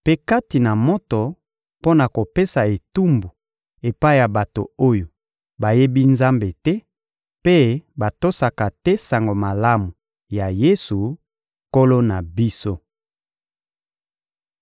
mpe kati na moto mpo na kopesa etumbu epai ya bato oyo bayebi Nzambe te mpe batosaka te Sango Malamu ya Yesu, Nkolo na biso.